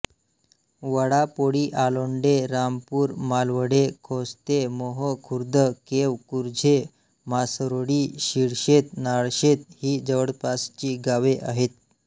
वडापोळीआलोंडे रामपूर मालवडे खोस्ते मोहो खुर्द केव कुर्झे म्हासरोळी शिळशेत नाळशेत ही जवळपासची गावे आहेत